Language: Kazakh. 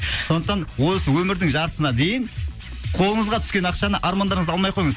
сондықтан осы өмірдің жартысына дейін қолыңызға түскен ақшаны армандарыңызды алмай қойыңыз